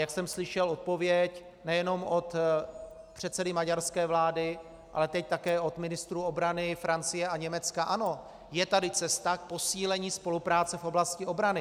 Jak jsem slyšel odpověď nejenom od předsedy maďarské vlády, ale teď také od ministrů obrany Francie a Německa: ano, je tady cesta k posílení spolupráce v oblasti obrany.